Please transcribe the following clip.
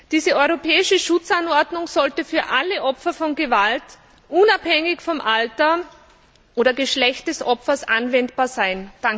Diese Europäische Schutzanordnung sollte auf alle Opfer von Gewalt unabhängig von Alter oder Geschlecht des Opfers anwendbar sein.